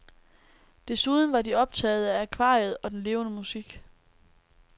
Desuden var de optagede af akvariet og den levende musik.